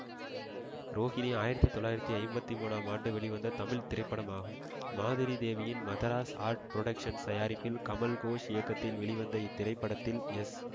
ரோகிணி ஆயிரத்தி தொள்ளாயிரத்தி ஐம்பத்தி மூன்றாம் ஆண்டு வெளிவந்த தமிழ் திரைப்படமாகும் மாதுரி தேவியின் மதராஸ் ஆர்ட் புரொடக்சன்சு தயாரிப்பில் கமல் கோஷ் இயக்கத்தில் வெளிவந்த இத்திரைப்படத்தில் எஸ்